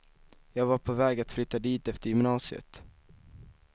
Jag var på väg att flytta dit efter gymnasiet.